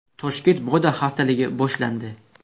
Toshkent moda haftaligi boshlandi .